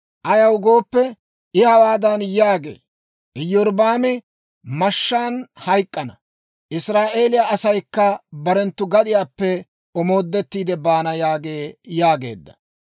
Ayaw gooppe, I hawaadan yaagee; ‹Iyorbbaami mashshaan hayk'k'ana; Israa'eeliyaa asaykka barenttu gadiyaappe omoodettiide baana› yaagee» yaageedda.